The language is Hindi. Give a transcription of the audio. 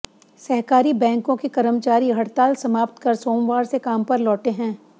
सहकारी बैंकों के कर्मचारी हड़ताल समाप्त कर सोमवार से काम पर लौटे हैं